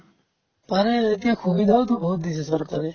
পাৰে এতিয়া সুবিধাওতো বহুত দিছে চৰকাৰে